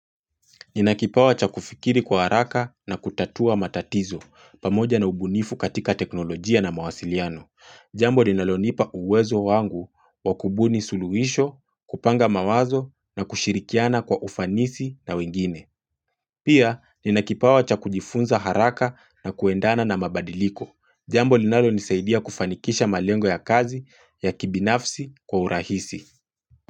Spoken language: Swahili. Ninakipawa cha kufikiri kwa haraka na kutatua matatizo, pamoja na ubunifu katika teknolojia na mawasiliano. Jambo linalonipa uwezo wangu wa kubuni suluisho, kupanga mawazo na kushirikiana kwa ufanisi na wengine. Pia, ninakipawa cha kujifunza haraka na kuendana na mabadiliko. Jambo linalonisaidia kufanikisha malengo ya kazi ya kibinafsi kwa urahisi.